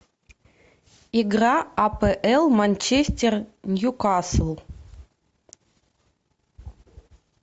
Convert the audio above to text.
игра апл манчестер ньюкасл